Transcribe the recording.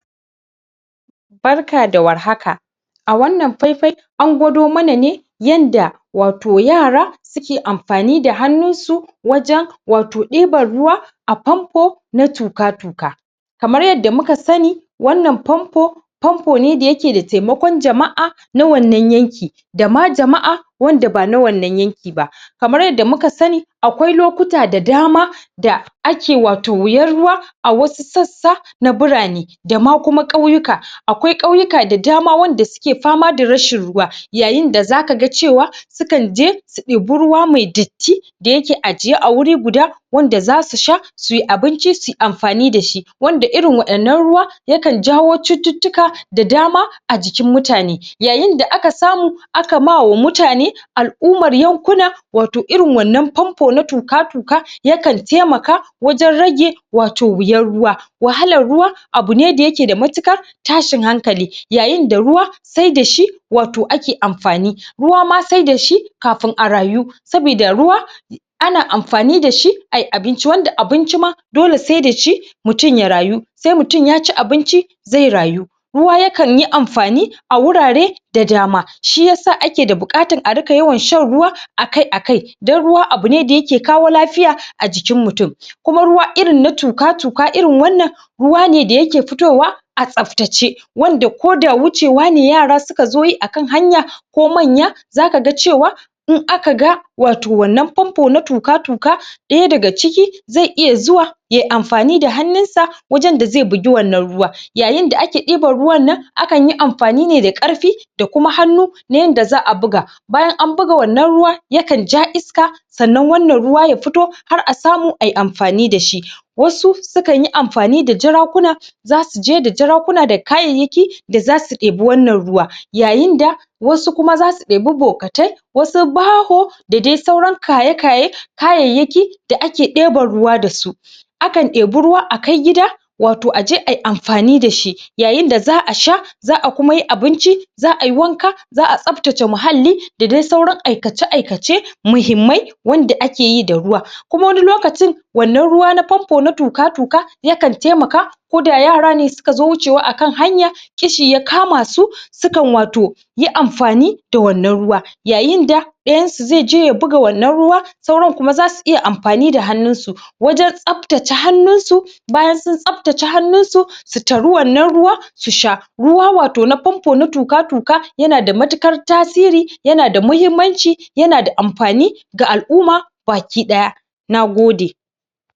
Assalamu Alaikum Warahmatullahi Wa Barakatuhu zamuyi magana ne akan tayaya maʼaikatan kiwon lafiya zasu iya tallafawa daidaiton mutane wajen yin anfani da abin diddigin kiwon a matsayin kayan aiki don fahimtar da lafiyar haihuwa toh da farko dai masana kiwon lafiya sune waƴanda zasu taimaka ma mutane domin su basu waƴannan abin bin diddigin wanda zasu iya yi dakansu koda ace babu wanda zai nuna musu toh ya kamata ace mutane masana kiwon lafiya su suka nunamusu ta yanda ta yanda zasu iya dakansu batareda wani ya sa musu hannu wa'innann abubuwa na anfani wurin wajen yanda zaʼayi su gane ovulution test dinka zaka iya anfani da wato kit din maʼana shi kanshi akwatin test din domin ka gwada sa'annan kuma zaka iya duba watakan zafin jikinka shima zaka iya dubashi akwai hanyoyi dayawa wanda mutum zai iya gane wannan ovulution din nashi na farko shi ne yin yin gwajin fitsari gwajin ftsari, na biyu shine watakan hutu, na uku Kuma mutum zai dinga yin zaiyi watakan gwajin jini shi wannan akwai wani Kuma wai shi track apps wannan Idan kanadashi zai taimaka maka wajen recording duk wani alamomi da kakeji a cikin jikinka kamar su yanayin zafin jiki saʼannan wannan abu yana taimakon mata dayawa wajen haihuwa ta yanda za su ta yanda za su kasance sun zauna lafiya a jikinsu batareda kowani lalura ba sa'annan yana yana fahimtar yana taimakawa wajen fahimtar da abunda ke faruwa a cikin jikin mutum wato Ɗan adam saʼannan Kuma akwai karancin lokacinda aya yinda mace ta gama al'ada akwai karancin lokacinda mace yakamata ta dauki ciki shine wato wannan lokacin da aka fara kyankyasan kwai wato a jikin mace mace Idan aka fara wannan kyankyasan kwan toh Tabbas mace takan iya daukan ciki da?? To masana kiwon lafiya sune wanda zasuyi tsayin daka domin su taimaka ma alʼumma da waƴannan kayan aikin domin su dinga duba lafiyar jikinsu musamman ma ta bangaren haihuwa.